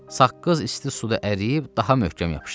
Saqqız isti suda əriyib daha möhkəm yapışdı.